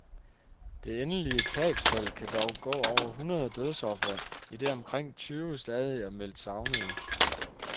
Det endelige tabstal kan dog gå over hundrede dødsofre, idet omkring tyve stadig er meldt savnede.